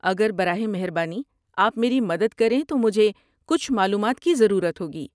اگر براہ مہربانی آپ میری مدد کریں تو مجھے کچھ معلومات کی ضرورت ہوگی۔